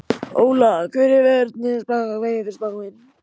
Óla, hvernig er veðurspáin?